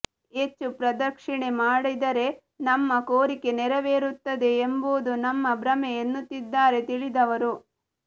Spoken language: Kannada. ಹೆಚ್ಚು ಪ್ರದಕ್ಷಿಣೆ ಮಾಡಿದರೆ ನಮ್ಮ ಕೋರಿಕೆ ನೆರವೇರುತ್ತದೆ ಎಂಬುದು ನಮ್ಮ ಭ್ರಮೆ ಎನ್ನುತ್ತಿದ್ದಾರೆ ತಿಳಿದವರು